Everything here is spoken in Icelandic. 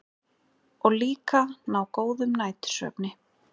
Og líka ná góðum nætursvefni.